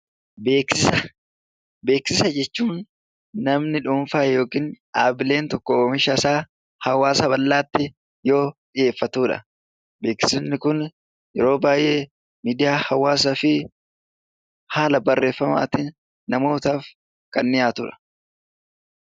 Beeksisa jechuun namni dhuunfaa yookiin dhaabbileen tokko oomisha isaa hawwaasa bal'aatti yoo dhiyeeffatudha. Beeksifni kun yeroo baay'ee miidiyaa hawwaasaa fi haala barreeffamaan namootaaf kan dhiyaatudha.